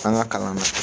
An ka kalan na